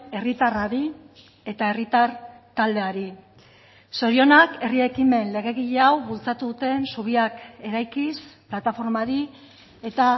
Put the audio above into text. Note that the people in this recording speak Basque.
herritarrari eta herritar taldeari zorionak herri ekimen legegile hau bultzatu duten zubiak eraikiz plataformari eta